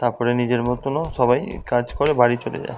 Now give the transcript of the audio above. তারপরে নিজের মতনও সবাই কাজ করে বাড়ি চলে যায়।